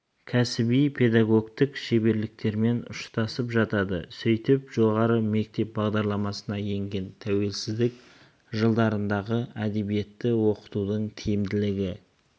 кәсіби педагогтік шеберліктерімен ұштасып жатады сөйтіп жоғары мектеп бағдарламасына енген тәуелсіздік жылдарындағы әдебиетті оқытудың тиімділігін